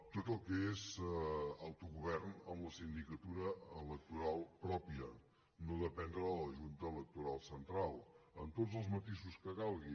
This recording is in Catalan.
tot el que és autogovern amb la sindicatura electoral pròpia no dependre de la junta electoral central amb tots els matisos que calgui